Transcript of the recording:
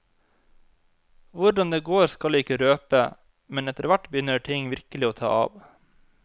Hvordan det går skal jeg ikke røpe, men etterhvert begynner ting virkelig å ta av.